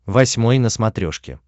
восьмой на смотрешке